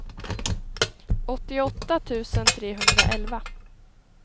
åttioåtta tusen trehundraelva